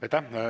Aitäh!